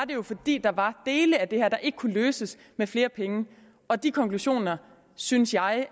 det jo fordi der var dele af det her der ikke kunne løses med flere penge og de konklusioner synes jeg